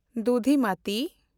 ᱫᱩᱫᱷᱤᱢᱟᱛᱤ